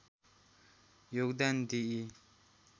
योगदान दिई